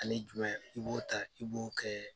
Ale i b'o ta i b'o kɛ